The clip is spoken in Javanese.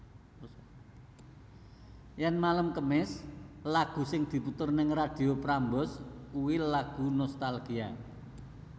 Yen malem kemis lagu sing diputer ning Radio Prambors kui lagu nostalgia